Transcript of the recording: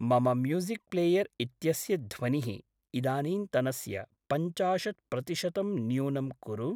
मम music player इत्यस्य ध्वनिः इदानीन्तनस्य पञ्चाशत्प्रतिशतं न्यूनं कुरु।